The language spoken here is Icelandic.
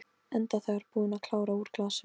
Enda þegar búin að klára úr glasinu.